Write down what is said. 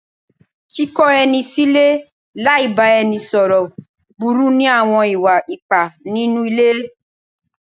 Kíkọ ẹni sílẹ̀ láì bá ẹni sọ̀rọ̀ burú ní àwọn ìwà ipá nínú ilé.